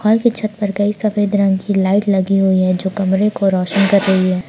घर की छत पर कई सफेद रंग की लाइट लगी हुई है जो कमरे को रोशन कर रही है।